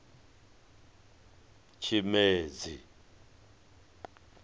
tshimedzi